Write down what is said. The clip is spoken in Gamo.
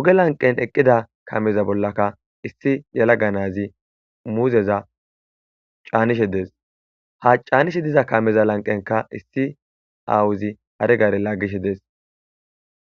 ooge lanqen eeqida kaameza bollakka issi yalaga nazi muuzeza caanishe de'es ha caanishe diza kaameza lanqen issi aawozi hare garera laagishe dees.